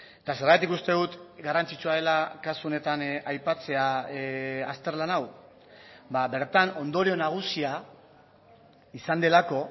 eta zergatik uste dut garrantzitsua dela kasu honetan aipatzea azterlan hau bertan ondorio nagusia izan delako